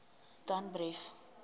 danbrief